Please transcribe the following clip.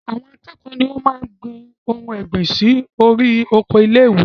Àwọn akẹ́kọ̀ọ́ ni o máa n gbin àwọn ohun ọ̀gbìn sórí oko ilé-ìwé